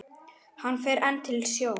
Hann fer enn til sjós.